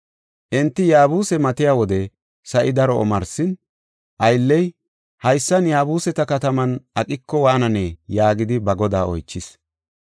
Enti Yaabuse matiya wode sa7i daro omarsin, aylley, “Haysan, Yaabuseta kataman aqiko waananee?” yaagidi ba godaa oychis.